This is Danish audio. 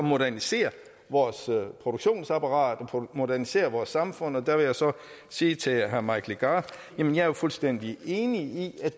modernisere vores produktionsapparat og modernisere vores samfund og der vil jeg så sige til herre mike legarth at jeg er fuldstændig enig i